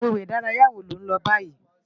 Agbégbé idàráyá wó ló n lò bàyí?